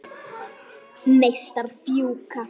Neistar fjúka.